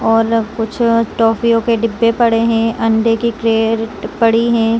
और कुछ टॉफीयो के डिब्बे पड़े है अंडे के ट्रे पड़ी है।